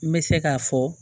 N bɛ se k'a fɔ